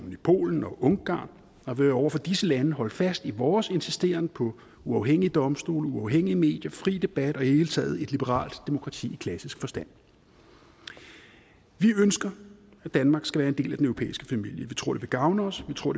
i polen og ungarn og vil over for disse lande holde fast i vores insisteren på uafhængige domstole uafhængige medier fri debat og i det hele taget et liberalt demokrati i klassisk forstand vi ønsker at danmark skal være en del af den europæiske familie vi tror at det vil gavne os vi tror